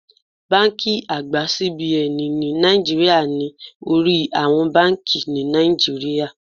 Báńkì àgbà CBN ní Naijiria ni orí àwọn báńkì ni Nàìjíríà.